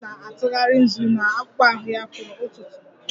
Nnene m na-atụgharị nzu na akpụkpọ ahụ ya kwa ụtụtụ